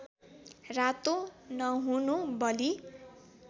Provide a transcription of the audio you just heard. रातो नहुनु बलि